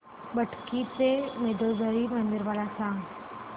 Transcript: बेटकी चे मंदोदरी मंदिर मला सांग